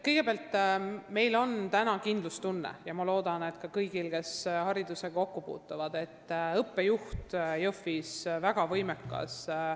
Kõigepealt, meil on praegu kindlustunne – ma loodan, et ka kõigil neil, kes haridusega kokku puutuvad –, et Jõhvis on väga võimekas õppejuht.